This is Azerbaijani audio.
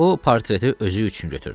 O portreti özü üçün götürdü.